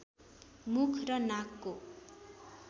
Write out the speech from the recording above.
मुख र नाकको